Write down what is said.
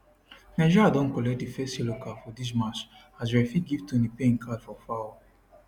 nigeria don collect di first yellow card for dis match as referee give toni payne card for foul